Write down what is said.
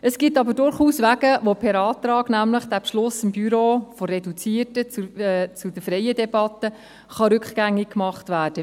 Es gibt aber durchaus Wege, um den Beschluss des Büros von der reduzierten zur freien Debatte per Antrag rückgängig zu machen.